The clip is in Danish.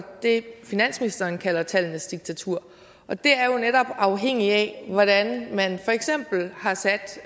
det finansministeren kalder tallenes diktatur og det er jo netop afhængigt af hvordan man for eksempel har sat